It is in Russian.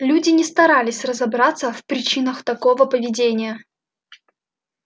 люди не старались разобраться в причинах такого поведения